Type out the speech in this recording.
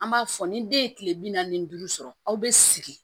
An b'a fɔ ni den ye kile bi naani ni duuru sɔrɔ aw bɛ sigi